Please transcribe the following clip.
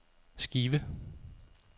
skive